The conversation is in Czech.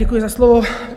Děkuji za slovo.